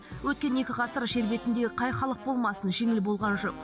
өткен екі ғасыр жер бетіндегі қай халық болмасын жеңіл болған жоқ